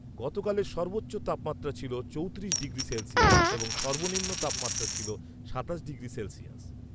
গতকালের সর্বোচ্চ তাপমাত্রা ছিল চৌত্রিশ ডিগ্রি সেলসিয়াস এবং সর্বনিম্ন তাপমাত্রা ছিল সাতাশ ডিগ্রি সেলসিয়াস